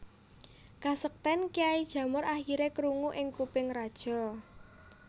Kasekten Kyai Jamur akhire krungu ing kuping raja